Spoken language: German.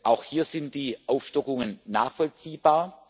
Auch hier sind die Aufstockungen nachvollziehbar.